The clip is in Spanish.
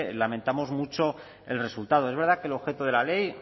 lamentamos mucho el resultado es verdad que el objeto de la ley